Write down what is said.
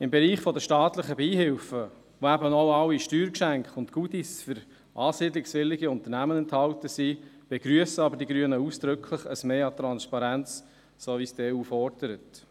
Im Bereich der staatlichen Beihilfen, der auch alle Steuergeschenke und «Goodies» für ansiedlungswillige Unternehmen enthält, begrüssen die Grünen aber ausdrücklich ein Mehr an Transparenz, so wie es die EU fordert.